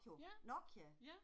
Ja, ja